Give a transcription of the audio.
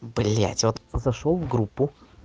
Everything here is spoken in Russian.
блять вот зашёл в группу